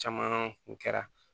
Caman kun kɛra